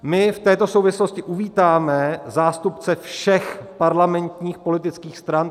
My v této souvislosti uvítáme zástupce všech parlamentních politických stran.